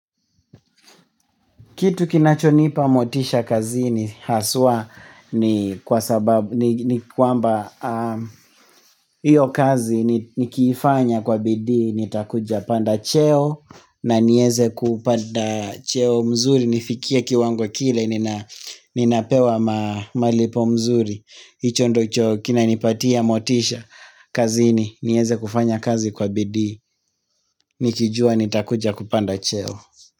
Kitu kinachonipa motisha kazini haswa ni kwamba hiyo kazi ni kifanya kwa bidii nitakuja panda cheo na niweze kupata cheo mzuri nifikie kiwango kile ninapewa malipo mzuri hicho ndicho kina nipatia motisha kazini nieze kufanya kazi kwa bidii nikijua nitakuja kupanda cheo.